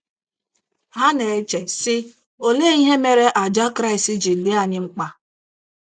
Ha na - eche, sị: ‘ Olee ihe mere àjà Kraịst ji dị anyị mkpa?